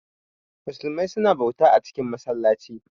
Musumai suna bauta a cikin masallaci